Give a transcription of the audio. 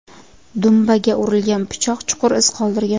Dumbaga urilgan pichoq chuqur iz qoldirgan.